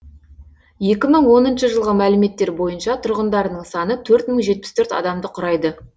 екі мың оныншы жылғы мәліметтер бойынша тұрғындарының саны төрт мың жетпіс төрт адамды құрайды